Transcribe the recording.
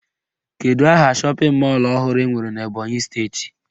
Kedụ aha shọpịn mọlụ ọhụrụ enwere n'Ebọnyị steeti?